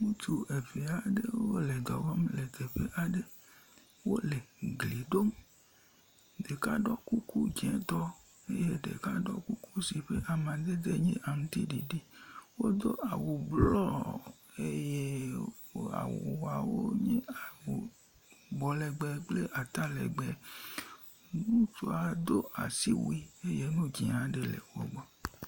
ŋutsu ɛvɛ aɖe lɛ dɔwɔm lɛ teƒe aɖe wolɛ gliɖom ɖeka ɖɔ kuku dzētɔ eye ɖeka ɖɔ awu si ƒa madede nye aŋtsiɖiɖi wodó awu blɔ eye awuawo nye bɔ legbe kple ata legbe ŋutsua ɖó asiwui eye ŋu dzĩ aɖe